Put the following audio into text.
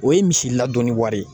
O ye misi ladonni wari